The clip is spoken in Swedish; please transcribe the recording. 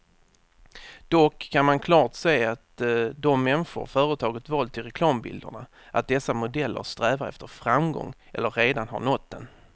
Dock kan man klart se av de människor företaget valt till reklambilderna, att dessa modeller strävar efter framgång eller redan har nått den.